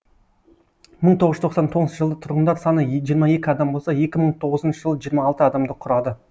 мың тоғыз жүз тоқсан тоғызыншы жылы тұрғындар саны жиырма екі адам болса екі мың тоғызыншы жылы жиырма алты адамды құрады